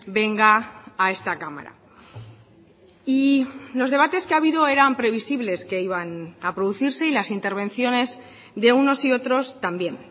venga a esta cámara y los debates que ha habido eran previsibles que iban a producirse y las intervenciones de unos y otros también